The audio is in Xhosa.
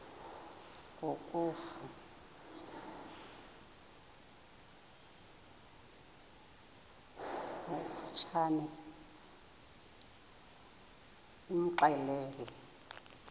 ngokofu tshane imxelele